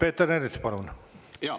Peeter Ernits, palun!